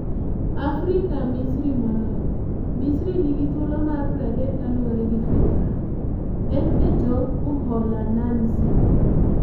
AFRIKA Misri Molony: Misri nigi thuolo mar 30 kaluore gi Fifa, en e tok Uholananzi.